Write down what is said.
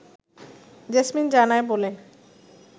jasmine জানায় বলে